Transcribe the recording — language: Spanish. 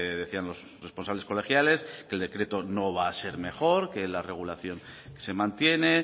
decían los responsables colegiales que el decreto no va a ser mejor que la regulación se mantiene